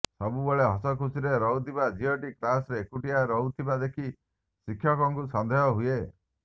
ସବୁବେଳେ ହସଖୁସିରେ ରହୁଥିବା ଝିଅଟି କ୍ଲାସରେ ଏକୁଟିଆ ରହୁଥିବା ଦେଖି ଶିକ୍ଷକଙ୍କୁ ସନ୍ଦେହ ହୁଏ